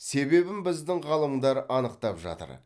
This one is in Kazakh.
себебін біздің ғалымдар анықтап жатыр